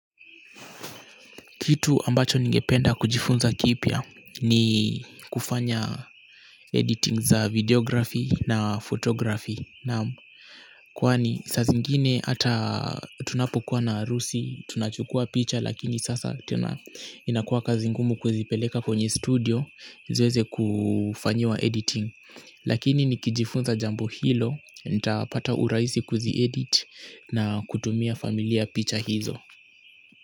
Kitu ambacho ningependa kujifunza kipya ni kufanya editing za videography na photography. Kwani saa zingine hata tunapokuwa na harusi tunachukua picha lakini sasa tena inakuwa kazi ngumu kuzipeleka kwenye studio ziweze kufanyiwa editing. Lakini nikijifunza jambo hilo nitapata urahisi kuzi edit na kutumia familia picha hizo.